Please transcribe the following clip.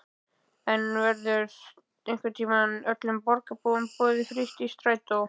En verður einhvern tímann öllum borgarbúum boðið frítt í strætó?